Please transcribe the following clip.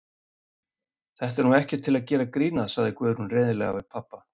Þetta er nú ekkert til að gera grín að, sagði Guðrún reiðilega við pabba.